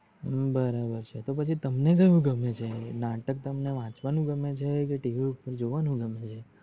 હમ બરાબર છે. તો પછી તમને કયું ગમે છે નાટક તમને વચવાનું ગમે છે કે TV ઉપપર જોવાનું ગમે છે